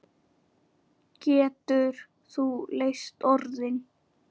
Getur þú leyst orðin?